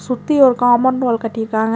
சுத்தி ஒரு compound wall கட்டிருக்காங்க.